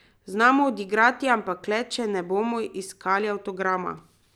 Znamo odigrati, ampak le, če ne bomo iskali avtograma.